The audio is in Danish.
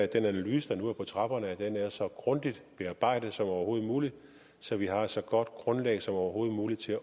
den analyse der nu er på trapperne er så grundigt bearbejdet som overhovedet muligt så vi har så godt et grundlag som overhovedet muligt